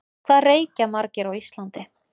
Hvað reykja margir á Íslandi?